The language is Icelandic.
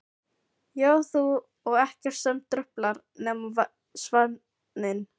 Ég og þú og ekkert sem truflar nema svefninn.